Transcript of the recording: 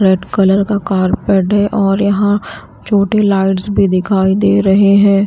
Red colour का carpet है और यहां छोटे लाइट्स भी दिखाई दे रहे हैं।